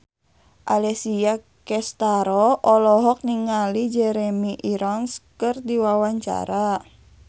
Alessia Cestaro olohok ningali Jeremy Irons keur diwawancara